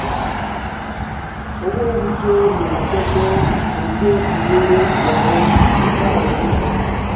owó oúnjẹ lósọ̀ọ̀sẹ̀ pọ̀ ju bí wọ́n rò lọ nígbà ọdún